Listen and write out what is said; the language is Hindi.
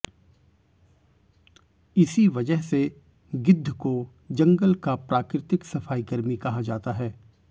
इसी वजह से गिद्ध को जंगल का प्राकृतिक सफाईकर्मी कहा जाता है